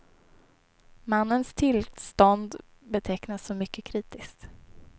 Mannens tillstånd betecknas som mycket kritiskt.